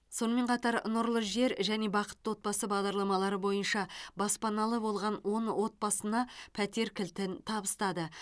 сонымен қатар нұрлы жер және бақытты отбасы бағдарламалары бойынша баспаналы болған он отбасына пәтер кілтін табыстады